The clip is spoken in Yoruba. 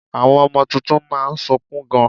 Àwọn ọmọ tuntun má a nsukun gan